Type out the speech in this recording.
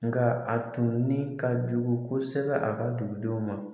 Nka a tun ni ka jugu kosɛbɛ a ka dugudenw ma